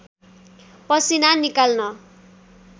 पसिना निकाल्न